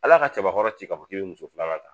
Ala ka cɛbakɔrɔ ci k'a fɔ k'i bɛ muso filanan ta